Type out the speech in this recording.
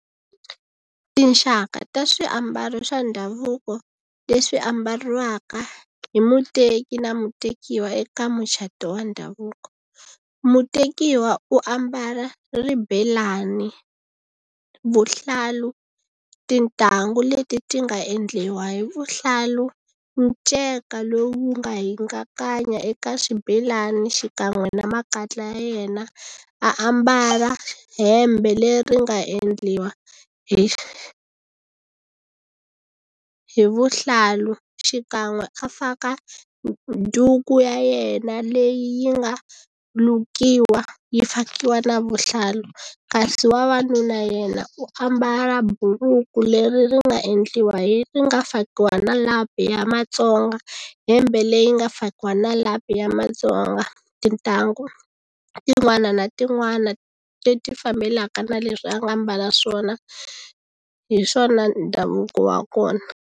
Tinxaka ta swiambalo swa ndhavuko leswi ambariwaka hi muteki na mutekiwa eka mucato wa ndhavuko mutekiwa u ambala ribelani vuhlalu tintangu leti ti nga endliwa hi vuhlalu nceka lowu nga hingakanya eka swibelani xikan'we na makatla ya yena ambala hembe leri nga endliwa hi hi vuhlalu xikan'we a faka duku ya yena leyi yi nga lukiwa yi fakiwa na vuhlalu kasi vavanuna yena u ambala buruku leri ri nga endliwa ri nga fakiwa na lapi ya Matsonga hembe leyi nga fakiwa na lapi ya Matsonga tintangu tin'wana na tin'wana leti fambelaka na leswi a nga mbala swona hi swona ndhavuko wa kona.